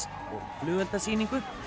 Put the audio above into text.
flugeldasýningu